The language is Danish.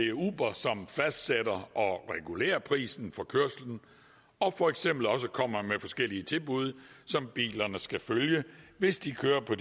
er uber som fastsætter og regulerer prisen for kørslen og for eksempel også kommer med forskellige tilbud som bilerne skal følge hvis de kører på